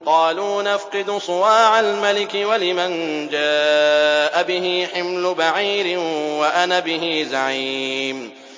قَالُوا نَفْقِدُ صُوَاعَ الْمَلِكِ وَلِمَن جَاءَ بِهِ حِمْلُ بَعِيرٍ وَأَنَا بِهِ زَعِيمٌ